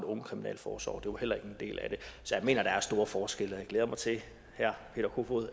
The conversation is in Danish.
ungekriminalforsorg det var heller ikke en del af det så jeg mener at der er store forskelle og jeg glæder mig til